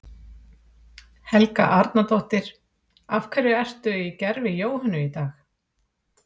Helga Arnardóttir: Af hverju ertu í gervi Jóhönnu í dag?